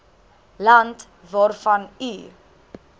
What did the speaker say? land waarvan u